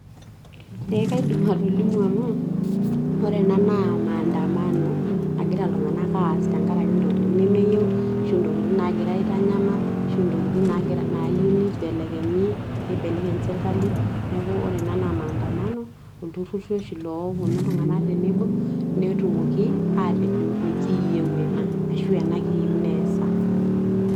Ee kaidim atolimu amuu ore enaa naa maandamano nagira ltunganak aas tenkaraki ntokitin nemeyieu , ntokitin nagira aitanyamal ashu ntokitin nagira nayie nibelekenyi ibelekeny serkali anaa maandamano ,iltururi loponu ltunganak tenebo netumoki atejo mikiyeu ena ashu ena kiyeu neasa.